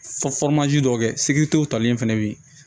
dɔw kɛ talen fɛnɛ be yen